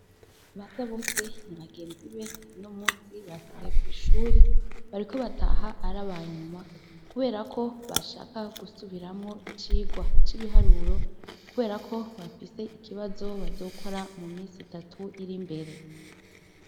BASABOSE n'abagenzibe uno munsi basigaye kwishure bariko bataha arabanyuma kuberako bashaka gusubiramwo icigwa c'ibiharuro, kuberako bafise ikibazo bazokora mu minsi itatu irimbere.